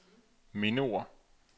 mindeord